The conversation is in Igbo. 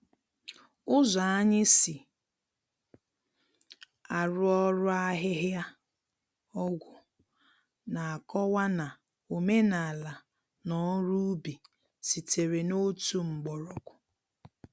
Ụzọ anyị si arụ ọrụ ahihia-ọgwụ na-akọwa na omenala na ọrụ ubi sitere n’otu mgbọrọgwụ.